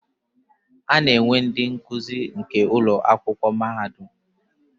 Ana enwe ndi nkuzi nke Ụlọ akwụkwọ mahadum.